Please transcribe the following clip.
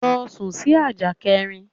Lọ sún sì ajá kẹrin!